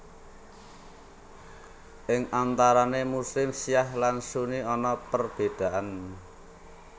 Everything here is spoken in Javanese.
Ing antarane Muslim Syiah lan Sunni ana perbedaan